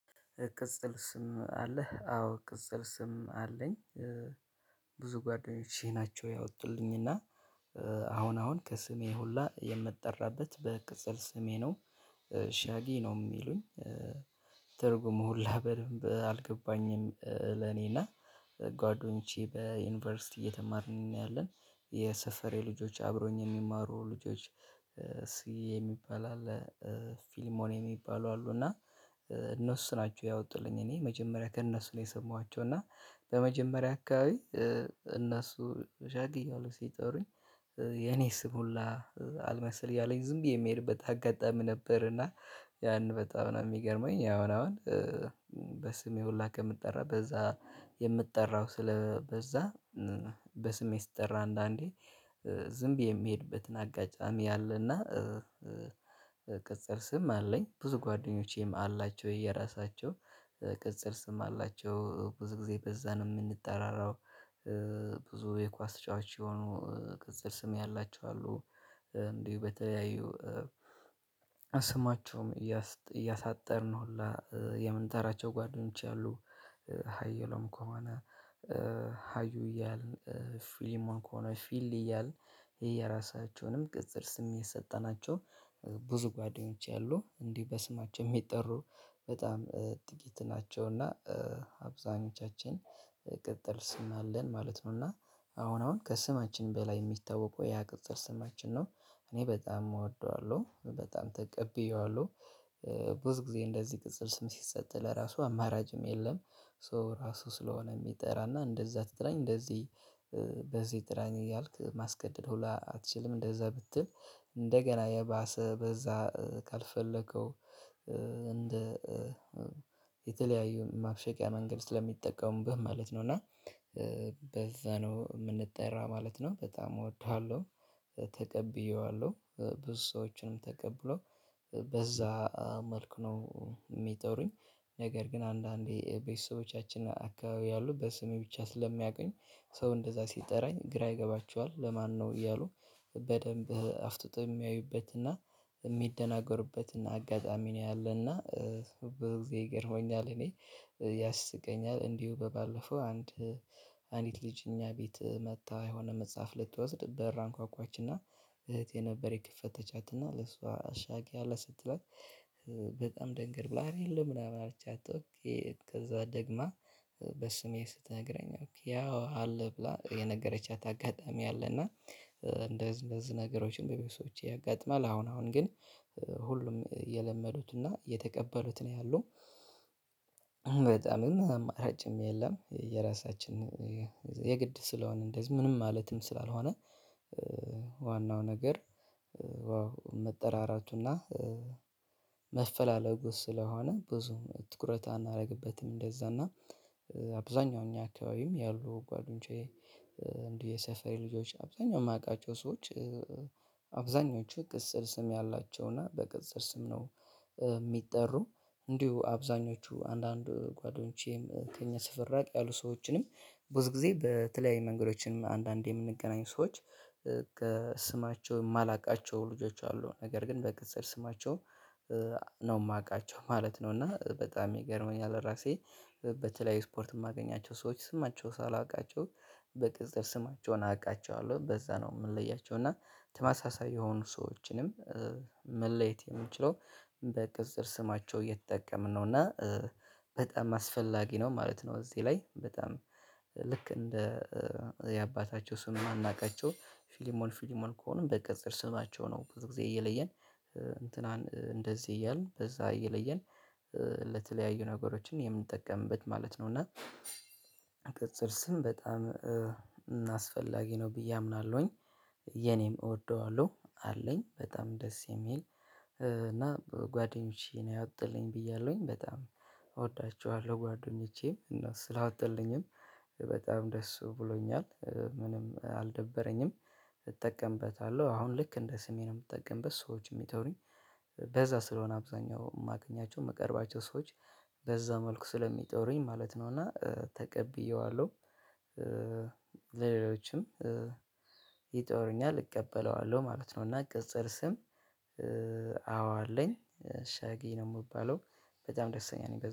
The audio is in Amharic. እቅጽል ስም አለህ አዎ ቅጽል ስም አለኝ። ብዙ ጓደኞቼ ናቸው ያወጡልኝና አሁን አሁን ከስሜ ሁላ የምጠራበት በቅጽል ስሜ ነው። ሻጊ ነው የሚሉኝ። ትርጉሙ ሁላ በደንብ አልገባኝም። ለኔና ጓዶንቼ በዩኒቨርሲቲ እየተማርን እያለን የሰፈሬ ልጆች አብሮኝ የሚማሩ ልጆች ሲ የሚባል አለ። ፊልሞን የሚባሉ አሉ። እና እነሱ ናቸው ያወጡልኝ እኔ መጀመሪያ ከእነሱ ነው የሰማኋቸው። እና በመጀመሪያ አካባቢ እነሱ ሻጊ እያሉ ሲጠሩኝ። የኔ ስም ሁላ አልመሰል እያለኝ ዝም ብዬ የምሄድበት አጋጣሚ ነበር። እና ያን በጣም ነው የሚገርመኝ አሁን አሁን በስሜ ሁላ ከምጠራ በዛ የምጠራው ስለበዛ በስሜ ስጠራ አንዳንዴ ዝም ብዬ የምሄድበትን አጋጣሚ አለና። ቅጽል ስም አለኝ ብዙ ጓደኞቼም አላቸው የራሳቸው ቅጽል ስም አላቸው ብዙ ጊዜ በዛ ነው የምንጠራራው። ብዙ የኳስ ተጫዋች የሆኑ ቅጽል ስም ያላቸው አሉ። እንዲሁ በተለያዩ ስማቸውም እያሳጠርን ሁላ የምንጠራቸው ጓደኞች አሉ። ሀዩለም ከሆነ እያልን ፊሊማ ከሆነ ፊል እያልን የየራሳቸውንም ቅጽል ስም እየሰጠናቸው ብዙ ጓደኞች አሉ እንዲህ በስማቸው የሚጠሩ በጣም ጥቂት ናቸው። እና አብዛኞቻችን ቅጥል ስም አለን ማለት ነው። እና አሁን አሁን ከስማችን በላይ የሚታወቀው ያ ቅጽል ስማችን ነው። እኔ በጣም እወደዋለሁ በጣም ተቀብየዋለሁ። ብዙ ጊዜ እንደዚህ ቅጽል ስም ሲሰጥ ለራሱ አማራችም የለም። ሶ ራሱ ስለሆነ የሚጠራና እንደዛ ትጥራኝ እንደዚህ በዚህ ጥራኝ እያልክ ማስገደድ ሁላ አትችልም። እንደዛ ብትል እንደገና የባሰ በዛ ካልፈለከው እንደ የተለያዩ ማብሸቂያ መንገድ ስለሚጠቀሙብህ ማለት ነው። እና በዛ ነው የምንጠራ ማለት ነው። በጣም እወድሃለሁ ተቀብየዋለሁ ብዙ ሰዎችም ተቀብለዋል በዛ መልክ ነው። የሚጠሩኝ ነገር ግን አንዳንዴ ቤተሰቦቻችን አካባቢ ያሉ በስሜ ብቻ ስለሚያቀኝ ሰው እንደዛ ሲጠራኝ ግራ ይገባችኋል ለማን ነው እያሉ። በደንብ አፍጥጠው የሚያዩበትና የሚደናገርበትና አጋጣሚ ነው ያለና። በዚህ ይገርመኛል እኔ ያስቀኛል። እንዲሁ ባለፈው አንድ አንድት ልጅ እኛ ቤት መጥታ የሆነ መጽሐፍ ልትወስድ በር አንኳኳችና እህቴ ነበር የከፈተቻትና ለሷ አሻጊ አለ ስትላት ደንገር ብላ አረ የለም ምናምን አልቻት። ከዛ ደግማ በስሜ ስትነግረኝ ኦኬ ያው አለ ብላ የነገረቻት አጋጣሚ አለና። እንደዚህ እንደዚህ ነገሮችን በቤተሰቦቼ ያጋጥማል አሁን አሁን ግን ሁሉም እየለመዱትና እየተቀበሉት ነው ያለው። በጣም አማራጭም የለም የራሳችን የግድ ስለሆነ እንደዚህ ምንም ማለትም ስላልሆነ። ዋናው ነገር መጠራራቱና መፈላለጉ ስለሆነ ብዙ ትኩረት አናደርግበትም። እንደዛ እና አብዛኛው እኛ አካባቢም ያሉ ጓደኞቼ እንዲህ የሰፈሬ ልጆች አብዛኛው የማውቃቸው ሰዎች አብዛኞቹ ቅጽል ስም ያላቸውና በቅጽል ስም ነው። የሚጠሩ እንዲሁ አብዛኞቹ አንዳንድ ጓደኞቼም ከኛ ሰፈር ራቅ ያሉ ሰዎችንም ብዙ ጊዜ በተለያየ መንገዶችም አንዳንዴ የምንገናኝ ሰዎች። ከስማቸው የማላውቃቸው ልጆች አሉ ነገር ግን በቅጽል ስማቸው ነው ማውቃቸው ማለት ነው። እና በጣም ይገርመኛል። ለራሴ በተለያየ ስፖርት የማገኛቸው ሰዎች ስማቸው ሳላውቃቸው በቅጽል ስማቸውን አውቃቸዋለሁ በዛ ነው ምለያቸው እና ተመሳሳይ የሆኑ ሰዎችንም መለየት የሚችለው በቅጽል ስማቸው እየተጠቀምን ነው። እና በጣም አስፈላጊ ነው ማለት ነው። እዚህ ላይ በጣም ልክ እንደ የአባታቸው ስሙን እናውቃቸው ፍልሞን ፍልሞን ከሆኑ በቅጽል ስማቸው ነው ብዙ ጊዜ እየለየን እንትናን እንደዚህ እያልን በዛ እየለየን ለተለያዩ ነገሮችን የምንጠቀምበት ማለት ነው። እና ቅጽል ስም በጣም አስፈላጊ ነው ብዬ አምናለሁኝ። የኔም እወደዋለሁ አለኝ በጣም ደስ የሚል እና ጓደኞቼ ነው ያወጡልኝ ብያለሁኝ በጣም እወዳቸዋለሁ ጓደኞቼም እና ስላወጡልኝም በጣም ደስ ብሎኛል። ምንም አልደበረኝም። እጠቀምበታለሁ አሁን ልክ እንደ ስሜ ነው የምጠቀምበት። ሰዎች የሚጠሩኝ በዛ ስለሆነ አብዛኛው የማገኛቸው የምቀርባቸው ሰዎች በዛ መልኩ ስለሚጠሩኝ ማለት ነው። እና ተቀብየዋለሁ። ለሌሎችም ይጠሩኛል እቀበለዋለሁ ማለት ነው። እና ቅጽል ስም አዎ አለኝ። ሻጌ ነው የምባለው በጣም ደስተኛ ነኝ